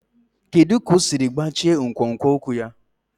Kedu ka o siri gbachie nkwonkwo ụkwụ ya?